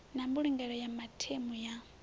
na mbulungelo ya mathemu ya